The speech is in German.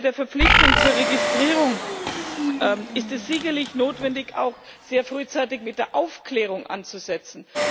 Bei der Verpflichtung zur Registrierung ist es sicherlich notwendig, auch sehr frühzeitig mit der Aufklärung anzusetzen.